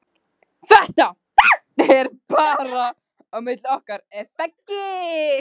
ÞETTA er bara á milli okkar er þaggi?